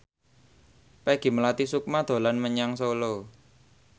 Peggy Melati Sukma dolan menyang Solo